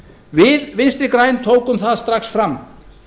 við í v g tókum það strax fram